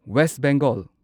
west Bengal